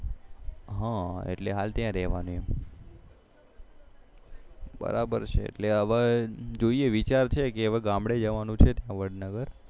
હા એટલે હાલ ત્યાં રેહવાનું બરાબર છે એટલે હવે વિચારે છે હવે ગામડે જવાનું છે ત્યાં વડનગર